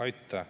Aitäh!